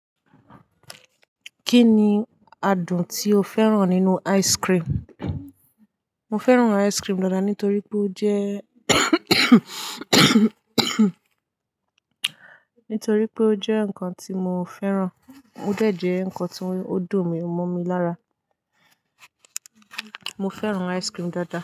Kí ni adùn tí o fẹ́ràn nínú ice cream? Mo fẹ́ràn ice cream dáadáa nítorí pé ó jẹ́ nítorí pé ó jẹ́ ǹkan tí mo fẹ́ràn. Óde jẹ́ ǹkan tí ó dùn mí, ó mọ́ mi lára. Mo fẹ́ràn ice cream dáadáa.